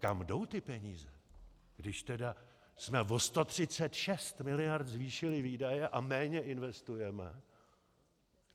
Kam jdou ty peníze, když tedy jsme o 136 miliard zvýšili výdaje a méně investujeme?